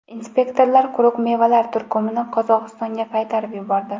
Inspektorlar quruq mevalar turkumini Qozog‘istonga qaytarib yubordi.